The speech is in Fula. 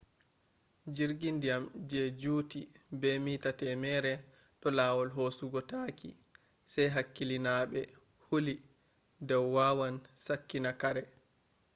jirgi ndiya je juti be mita temerre ɗo lawol hosugo taaki sai hakkilinaaɓe huli dau wawan sakkina kare